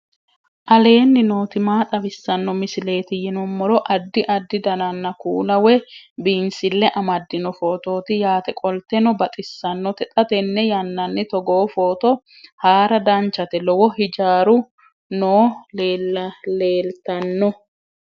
aleenni nooti maa xawisanno misileeti yinummoro addi addi dananna kuula woy biinsille amaddino footooti yaate qoltenno baxissannote xa tenne yannanni togoo footo haara danvchate lowo hijaaru nooi leltanno